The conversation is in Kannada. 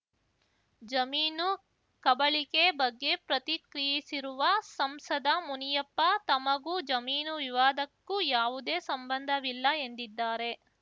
ಜಮೀನು ಕಬಳಿಕೆ ಬಗ್ಗೆ ಪ್ರತಿಕ್ರಿಯಿಸಿರುವ ಸಂಸದ ಮುನಿಯಪ್ಪ ತಮಗೂ ಜಮೀನು ವಿವಾದಕ್ಕೂ ಯಾವುದೇ ಸಂಬಂಧವಿಲ್ಲ ಎಂದಿದ್ದಾರೆ